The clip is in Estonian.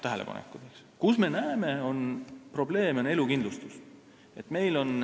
Valdkond, kus me näeme probleeme, on elukindlustus.